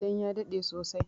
Dan ya daɗe sosai